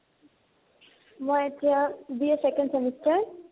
মই এতিয়া BA second semester